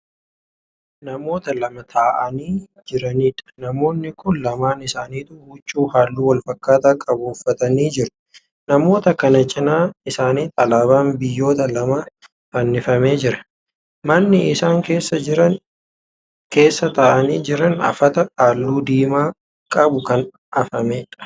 Namoota lama taa'anii Jiraniidha. namoomni Kuni lamaan isaanituu huccuu halluu walfakkaataa qabu uffatanii jiru. namoota kana cinaa isaanitti alaabaan biyyoota lamaa fannifamee jira. manni isaan keessa taa'anii Jiran afata halluu diimaa qabu Kan afameedha.